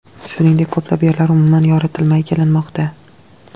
Shuningdek, ko‘plab yerlar umuman yoritilmay kelinmoqda.